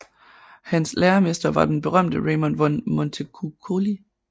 Hans læremester var den berømte Raimund von Montecuccoli